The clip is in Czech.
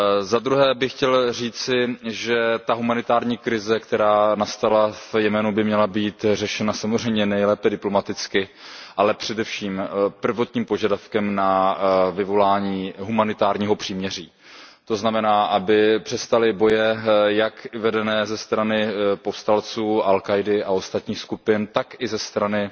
Za druhé bych chtěl říci, že ta humanitární krize, která nastala v Jemenu, by měla být řešena samozřejmě nejlépe diplomaticky, ale především prvotním požadavkem na vyvolání humanitárního příměří, to znamená, aby přestaly boje vedené jak ze strany povstalců al Káidy a ostatních skupin, tak i ze strany